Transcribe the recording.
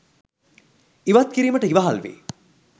ඉවත් කිරීමට ඉවහල් වෙයි.